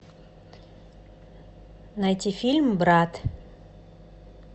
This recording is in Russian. найти фильм брат